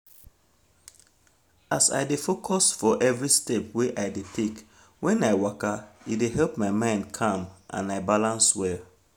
as i dey focus for every step wey i dey take when i waka e dey help my mind calm and i balance well